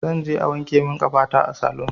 Zanje a wanke min ƙafata a salun